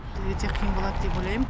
өте қиын болады деп ойлайм